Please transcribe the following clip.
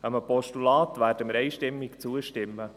Einem Postulat werden wir einstimmig zustimmen.